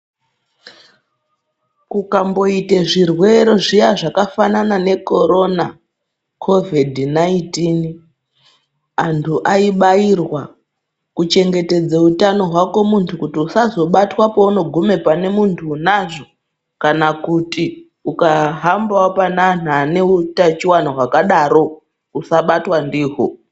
Kukamboite zvirwere zviya zvakafanana nekorona kovhidhi naitini. Antu aibairwa kuchengetedze utano hwako muntu kuti usazobatwa pounogume pane muntu unazvo. Kana kuti ukahambavo pane antu ane utachivana hwakadaro usabatwa ndiho.